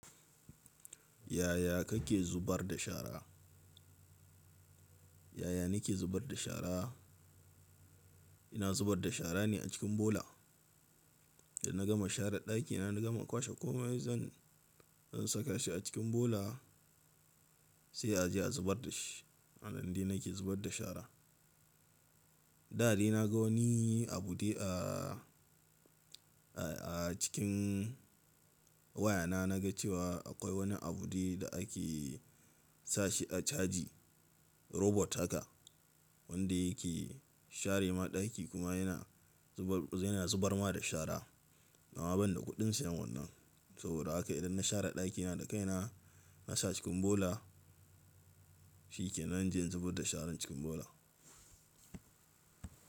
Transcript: Yaya kake zubar da shara? Yaya nake zubar da shara? Ina zubar da shara ne a cikin bola. Idan na gama share ɗakina, na gama kwashe komai zan-- in saka shi a cikin bola sai a je a zubar da shi. A nan dai nake zubar da shara. Da dai na ga wani abu a, a, a cikin wayana. Na ga cewa akwai wani abu da ake sa shi a caji, robot haka wanda yake share ma ɗaki kuma yana zubar, yana zubar ma da shara. Amma banida kuɗin siyan wannan saboda haka idan na share ɗakina da kaina na sa cikin bola, shi ke nan jin zubar da sharan cikin bola.